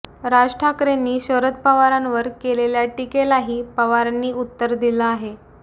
राज ठाकरेंनी शरद पवारांवर केलेल्या टीकेलाही पवारांनी उत्तर दिलं आहे